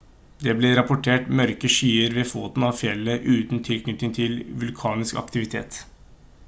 det ble rapportert mørke skyer ved foten av fjellet uten tilknytning til vulkansk aktivitet